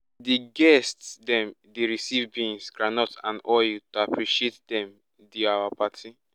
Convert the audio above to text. di guests dem dey receive beans groundnuts and palm oil to appreciate dem di our party